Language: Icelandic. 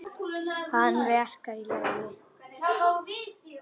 Hana verkjar í legið.